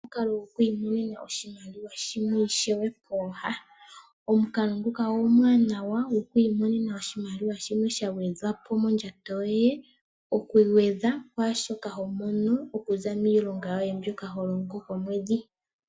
Omukalo goku imonena oshimaliwa shimwe ishewe pooha, omukalo nguka omuwanawa goku imonena oshimaliwa shimwe sha gwedhapo mondjato yoye, oku gwedha kwaashoka ho mono okuza miilonga yoye mbyoka ho longo komwedhi.